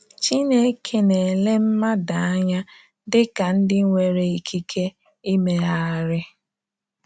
Chineke na-ele mmadụ anya dị ka ndị nwere ikike imegharị.